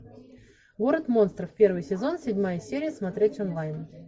город монстров первый сезон седьмая серия смотреть онлайн